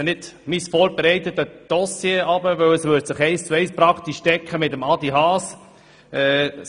Ich lese nun nicht mein vorbereitetes Votum vor, denn dieses würde sich fast eins zu eins mit dem Votum von Adrian Haas decken.